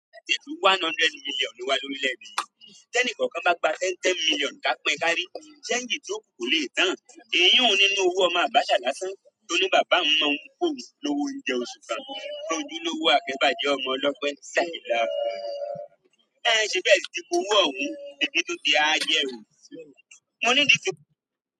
Ẹnì kọ̀ọ̀kan bá gba ten ten million ká pín kárí, sẹ́ẹ́ngì tí yíó kù kòleè tán, ìyùn nínú owó ọmọ abacha lásán, tóní bàbá òhun máa n fún òhun ní owó oúnjẹ oṣù kan, ojúlówó akẹ́bàjẹ́ ọmọ ọlọ́pẹ́, laillaillallahu, en ṣebí e sìti gbowó ọ̀hún, ebí tún ti áá jẹ o, mo ni.